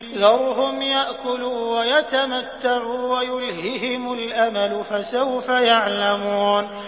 ذَرْهُمْ يَأْكُلُوا وَيَتَمَتَّعُوا وَيُلْهِهِمُ الْأَمَلُ ۖ فَسَوْفَ يَعْلَمُونَ